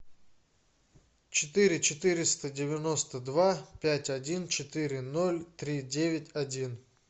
четыре четыреста девяносто два пять один четыре ноль три девять один